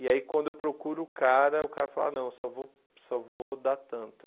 E aí quando eu procuro o cara, o cara fala, não, só vou só vou dar tanto.